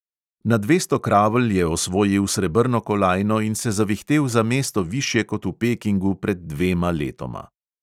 Na dvesto kravl je osvojil srebrno kolajno in se zavihtel za mesto višje kot v pekingu pred dvema letoma.